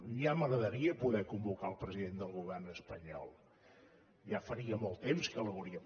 ja m’agradaria poder convocar el president del govern espanyol ja faria molt temps que l’hauria